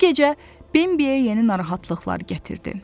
Bu gecə Bembiyə yeni narahatlıqlar gətirdi.